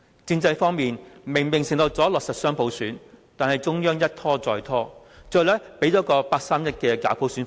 政制方面，承諾了會落實雙普選，但中央一拖再拖，最後只提供了八三一假普選方案。